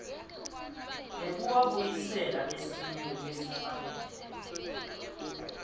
nekuwabuyisela esimeni lesifanele